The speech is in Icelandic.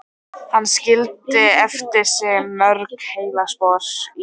Hann skildi eftir sig mörg heillaspor í